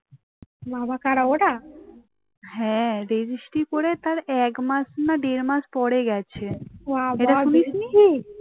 ছি